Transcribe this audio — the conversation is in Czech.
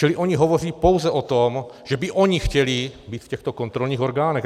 Čili oni hovoří pouze o tom, že by oni chtěli být v těchto kontrolních orgánech.